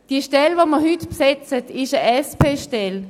Die Stelle, die wir heute besetzen, ist eine SP-Stelle.